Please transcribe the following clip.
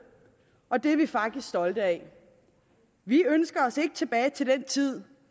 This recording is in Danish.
og det er vi faktisk stolte af vi ønsker os ikke tilbage til den tid